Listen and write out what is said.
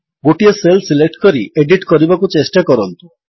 ଗୋଟିଏ cell select କରି edit କରିବାକୁ ଚେଷ୍ଟା କରନ୍ତୁ